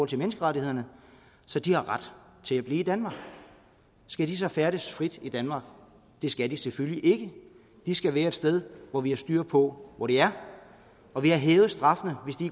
til menneskerettighederne så de har ret til at blive i danmark skal de så færdes frit i danmark det skal de selvfølgelig ikke de skal være et sted hvor vi har styr på hvor de er og vi har hævet straffen hvis de